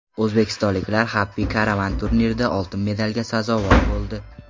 O‘zbekistonliklar Happy Caravan turnirida oltin medalga sazovor bo‘ldi.